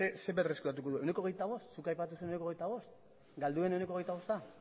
zer berreskuratuko du ehuneko hogeita bost zuk aipatu zenuen ehuneko hogeita bost galdu den ehuneko hogeita bosta